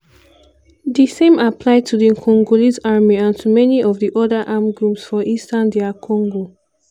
di same apply to di congolese army and to many of di oda armed groups for eastern dr congo.